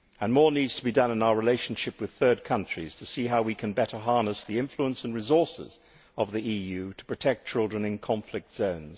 More also needs to be done in our relationship with third countries to see how we can better harness the influence and resources of the EU to protect children in conflict zones.